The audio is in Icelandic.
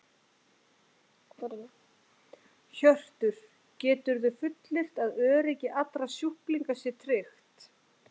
Hjörtur: Geturðu fullyrt að öryggi allra sjúklinga sé tryggt?